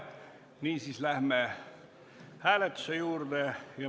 Niisiis läheme hääletuse juurde.